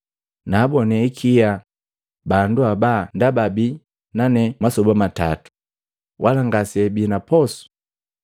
“Naabonee ikia bandu haba ndaba abii nane masoba matatu, wala ngaseabii na posu.